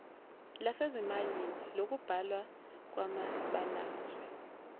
lwasezimayini lokubhalwa kwamabalazwe